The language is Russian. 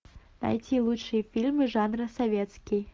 найти лучшие фильмы жанра советский